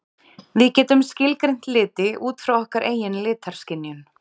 Við getum skilgreint liti út frá okkar eigin litaskynjun.